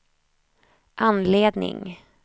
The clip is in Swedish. anledning